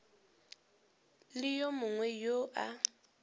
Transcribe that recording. le yo mongwe yo a